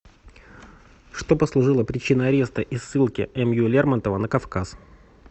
что послужило причиной ареста и ссылки м ю лермонтова на кавказ